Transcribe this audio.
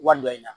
Wari dɔ in na